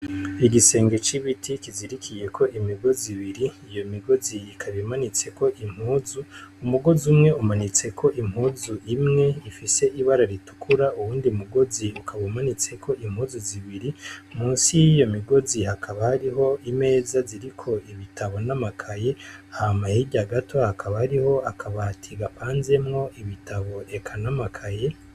Igisenge c'ibiti kizirikiye ko imigozi ibiri iyo migozi ikabimanitseko impuzu umugozi umwe umanitseko impuzu imwe ifise ibara ritukura uwundi mugozi ukaba umanitseko impuzu zibiri munsi y'iyo migozi hakaba hariho imeza ziriko ibitabo n'amakaye hama hirya gato hakaba hariho akabati gapanzemwo ibitabo eka n'amakaye.